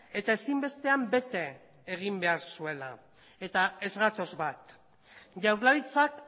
eta ezinbestean bete egin behar zuela eta ez gatoz bat jaurlaritzak